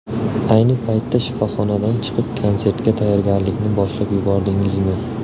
Ayni paytda shifoxonadan chiqib, konsertga tayyorgarlikni boshlab yubordingizmi?